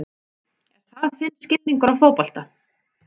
Er það þinn skilningur á fótbolta?